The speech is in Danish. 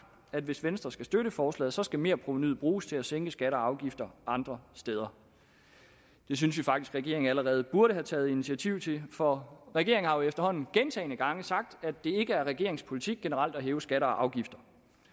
at hvis venstre skal støtte forslaget skal merprovenuet bruges til at sænke skatter og afgifter andre steder det synes vi faktisk regeringen allerede burde have taget initiativ til for regeringen har jo efterhånden gentagne gange sagt at det ikke er regeringens politik generelt at hæve skatter og afgifter